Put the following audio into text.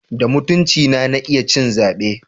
Da mutuncina na iya ci zabe.